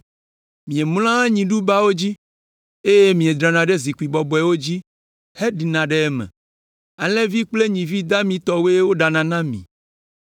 Miemlɔa nyiɖubawo dzi, eye miedrana ɖe zikpui bɔbɔewo dzi heɖina ɖe eme; alẽvi kple nyivi damitɔwoe woɖana na mi.